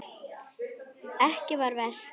Ekki sem verst?